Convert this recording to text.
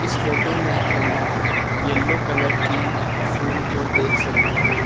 इस फोटो में हम यलो कलर की फुल को देख सकते हैं।